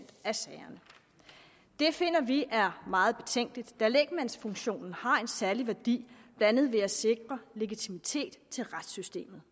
af sagerne det finder vi er meget betænkeligt da lægmandsfunktionen har en særlig værdi blandt andet ved at sikre legitimitet i retssystemet